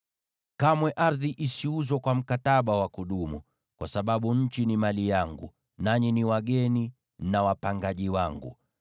“ ‘Kamwe ardhi isiuzwe kwa mkataba wa kudumu, kwa sababu nchi ni mali yangu, nanyi ni wageni na wapangaji wangu.